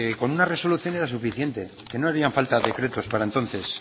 con una resolución era suficiente que no harían falta decretos para entonces